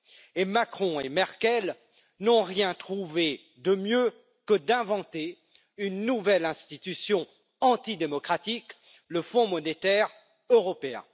Et Macron et Merkel n'ont rien trouvé de mieux que d'inventer une nouvelle institution antidémocratique le Fonds monétaire européen.